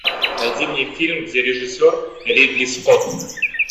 найди мне фильм где режиссер ридли скотт